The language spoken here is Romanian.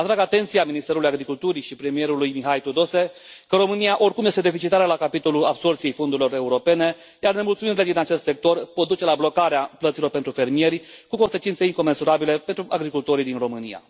Atrag atenția Ministrului Agriculturii și premierului Mihai Tudose că România oricum este deficitară la capitolul absorbției fondurilor europene, iar nemulțumirile din acest sector pot duce la blocarea plăților pentru fermieri, cu consecințe incomensurabile pentru agricultorii din România.